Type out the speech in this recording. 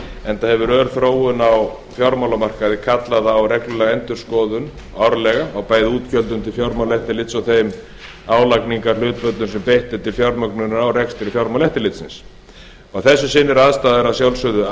enda hefur ör þróun á fjármálamarkaði kallað á reglulega endurskoðun árlega á bæði útgjöldum til fjármálaeftirlits og þeim álagningarhlutföllum sem beitt er til fjármögnunar á rekstri fjármálaeftirlitsins að þessu sinni eru aðstæður að sjálfsögðu